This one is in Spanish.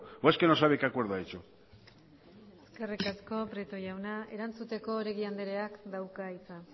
o es que no sabe que acuerdo ha hecho eskerri asko prieto jauna erantzuteko oregi andreak dauka hitza